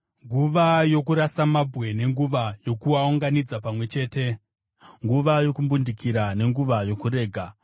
nguva yokurasa mabwe nenguva yokuaunganidza pamwe chete, nguva yokumbundikira nenguva yokurega;